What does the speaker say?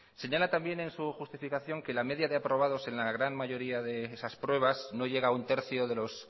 señala también en su justificación que la media de aprobados en la gran mayoría de esas pruebas no llega a un tercio